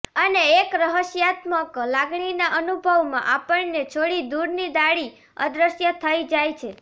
અને એક રહસ્યાત્મક લાગણીના અનુભવમાં આપણને છોડી દૂરની ડાળી અદ્રશ્ય થઈ જાય છે